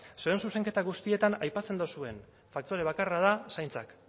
zuen zuzenketa guztietan aipatzen duzuen faktore bakarra da zaintzak